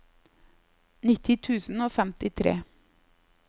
nitti tusen og femtifire